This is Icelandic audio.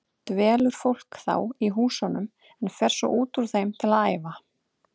Dvelur fólk þá í húsunum en fer svo út úr þeim til að æfa.